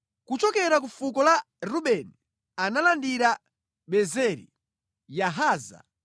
Kuchokera ku fuko la Rubeni analandira Bezeri, Yahaza,